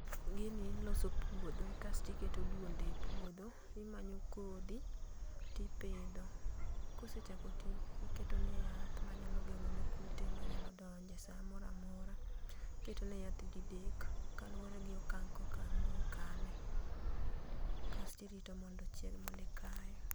gini iloso puodho kasti keto duonde e puodho timanyo kodhi tipidho kosechako ti tiketo ne yath manyalo geng'o ne kute manyalo donje samoramora. iketo ne yath didek kaluore gi okang' ko okang' mokale kasto irito mondo ochieg mondi ikae.